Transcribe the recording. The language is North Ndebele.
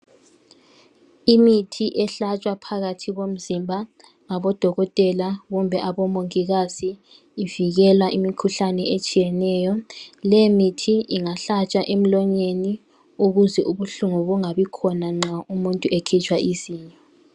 imithi ehlatshwa phakathi komzimba ngabo dokotela kumbe abomongikazi inikela imikhuhlane etshiyeneyo le mithi ingahlatshwa emlonyeni ukuze ubuhlungu bungabi khona nxa umuntu ekhitshwa izinyo